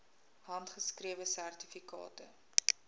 handgeskrewe sertifikate